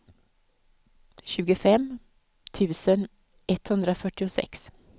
tjugofem tusen etthundrafyrtiosex